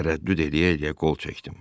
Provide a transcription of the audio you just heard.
Tərəddüd eləyə-eləyə qol çəkdim.